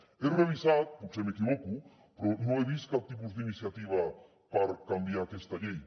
ho he revisat potser m’equivoco però no he vist cap tipus d’iniciativa per canviar aquesta llei